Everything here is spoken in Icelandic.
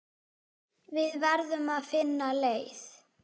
Við verðum að finna leið.